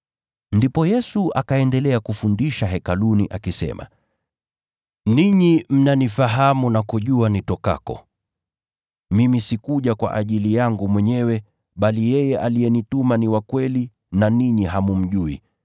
Ndipo Yesu, akaendelea kufundisha Hekaluni, akisema, “Ninyi mnanifahamu na kujua nitokako. Mimi sikuja kwa ajili yangu mwenyewe, bali yeye aliyenituma ni wa kweli na ninyi hammjui.